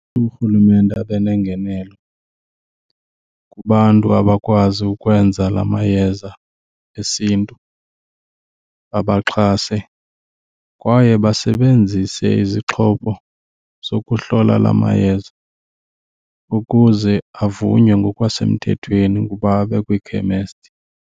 Urhulumente abe nengenelo kubantu abakwazi ukwenza la mayeza esiNtu, abaxhase, kwaye basebenzise izixhobo zokuhlola la mayeza ukuze avunywe ngokwasemthethweni ukuba abe kwiikhemesti.